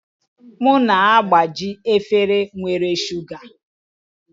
M na-agbaji efere nwere shuga